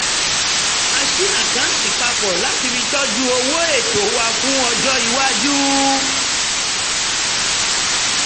a ṣí àkáǹtì papọ̀ láti fi tọ́jú owó ètò wa fún ọjọ́ iwájú